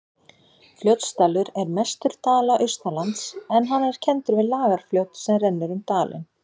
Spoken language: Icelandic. Fljótsdalur er mestur dala austanlands en hann er kenndur við Lagarfljót sem rennur um dalinn.